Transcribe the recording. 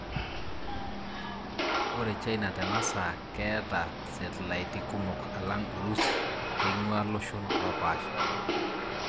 Ore China tenasaa keta setlaiti kumok alang Urusi keingua loshon opasha.